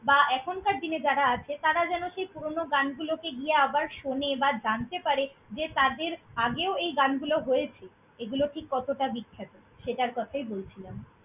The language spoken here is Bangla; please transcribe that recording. বা এখনকার দিনে যারা আছে, তারা যেন সেই পুরোনো গানগুলোকে গিয়ে আবার শোনে বা জানতে পারে যে তাদের আগেও এই গানগুলো হয়েছে, এগুলো ঠিক কতটা বিখ্যাত! সেটার কথাই বলছিলাম।